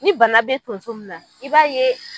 Ni bana bɛ tonso min na i b'a ye